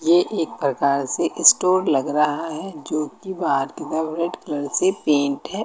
ये एक प्रकार से स्टोर लग रहा है जोकि बाहर की तरफ रेड कलर से पेंट है।